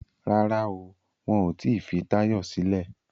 Rárá o, wọn ò tí fi Táyọ̀ sílẹ̀